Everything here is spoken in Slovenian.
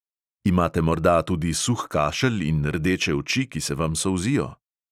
Imate morda tudi suh kašelj in rdeče oči, ki se vam solzijo?